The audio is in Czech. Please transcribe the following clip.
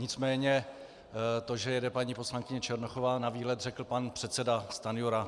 Nicméně to, že jede paní poslankyně Černochová na výlet, řekl pan předseda Stanjura.